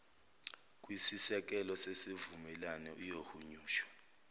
kwisisekelo sesivumelwane iyohunyushwa